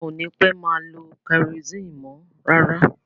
A ò ní pẹ́ má lo kẹrosini mọ́ rárá.